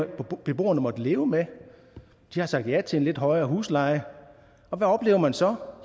beboerne måttet leve med de har sagt ja til en lidt højere husleje og hvad oplever man så